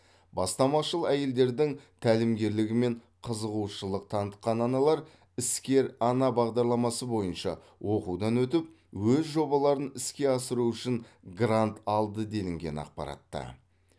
бастамашыл әйелдердің тәлімгерлігімен қызығушылық танытқан аналар іскер ана бағдарламасы бойынша оқудан өтіп өз жобаларын іске асыру үшін грант алды делінген ақпаратта